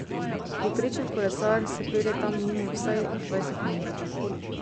Povprečen kolesar se pelje tam mimo vsaj dvajset na uro.